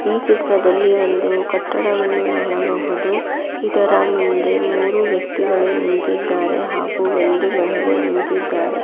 ಈ ಚಿತ್ರದಲ್ಲಿ ಒಂದು ಕಟ್ಟಡವನ್ನು ನೋಡಬಹುದು ಇದರ ಮುಂದೆ ಮೂರು ವ್ಯಕಿಗಳು ನಿಂತಿದ್ದಾರೆ ಹಾಗು ಒಂದು ಮಹಿಳೆ ನಿಂತಿದ್ದಾರೆ.